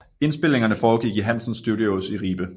Indspilningerne foregik i Hansen Studios i Ribe